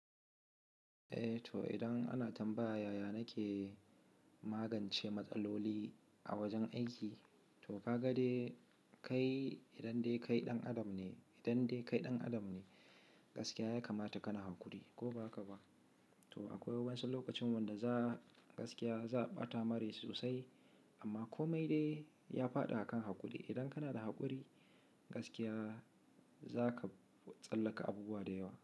Eh to idan ana tambaya, yaya na ke magance matsaloli a wajen aiki. To gaga dai kai idan dai kai ɗan adam ne, idan dai kai ɗan adam ne, gaskiya ya kamata ka na haƙuri ko ba haka ba. To akwai wasu lokacin wanda za gaskiya za ɓata mare sosai, amma kome dai ya faɗa akan haƙuri. Idan kana da haƙuri, gaskiya zaka tsallaka abubuwa da yawa.